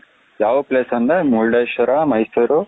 ಯಾವ್place ಅಂದೆ ಮುರುಡೇಶ್ವರ ಮೈಸೂರು